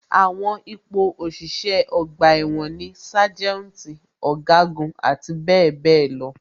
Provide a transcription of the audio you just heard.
Àwọn ipò òṣìṣẹ́ ọgbà ẹ̀wọ̀n ni sájẹ́ùntì, ọ̀gágun, àti bẹẹ bẹẹ lọ.